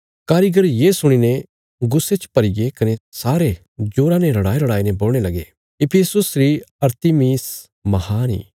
कारीगर ये सुणीने गुस्से च भरीगे कने सारे जोरा ने रड़ाईरड़ाईने बोलणे लगे इफिसुस री अरतिमिस महान इ